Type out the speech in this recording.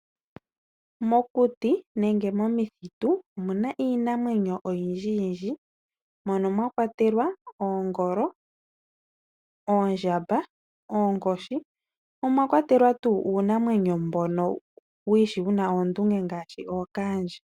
Mokuti nenge momithitu omuna iinamwenyo oyindji yindji mono mwa kwatelwa oongolo, oondjamba , oonkoshi mo omwa kwatelwa uunamwenyo mbono wiishi wu na oondunge ngaashi okaandje.